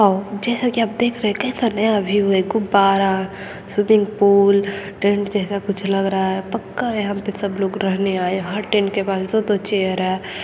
आओ जैसा की आप देख रहे है ये एक कैसा नया व्यू है गुबार स्विमिंग पूल टेंट जैसा कुछ लग रहा है पक्का यहाँ पे सब लोग रहने आए हर टेंट के बाहर दो-दो चेयर है।